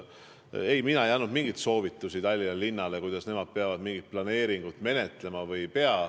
Ei, mina ei andnud mingeid soovitusi Tallinna linnale, kuidas nemad mingit planeeringut menetlema peavad või ei pea.